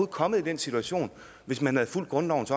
kommet i den situation hvis man havde fulgt grundlovens